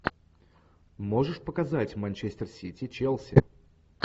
можешь показать манчестер сити челси